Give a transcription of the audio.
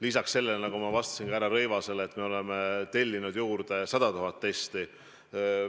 Lisaks sellele, nagu ma ütlesin ka härra Rõivasele vastates, me oleme tellinud juurde 100 000 testi.